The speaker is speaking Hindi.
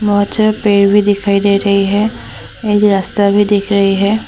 बहोत सारा पेड़ भी दिखाई दे रही है एक रास्ता भी दिख रही है।